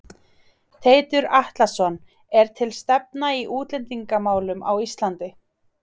Teitur Atlason: Er til stefna í útlendingamálum á Ísland?